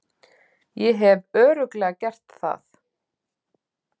Ég hef Örugglega gert það.